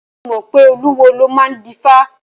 Ṣé o mọ̀ pé olúwo ló máa ń dífá?